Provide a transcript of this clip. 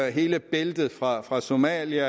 og hele bæltet fra fra somalia